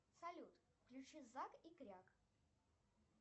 салют включи зак и кряк